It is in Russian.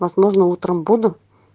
возможно утром буду